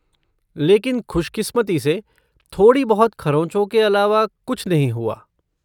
लेकिन खुशकिस्मती से थोड़ी बहुत खरोचों के अलावा कुछ नहीं हुआ।